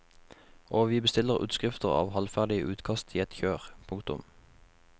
Og vi bestiller utskrifter av halvferdige utkast i ett kjør. punktum